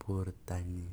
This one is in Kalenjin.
bortanyin.